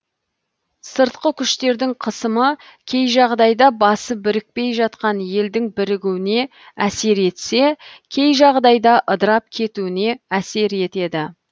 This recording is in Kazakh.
сыртқы күштердің қысымы кей жағдайда басы бірікпей жатқан елдің бірігуіне әсер етсе кей жағдайда ыдырап кетуіне әсер етеді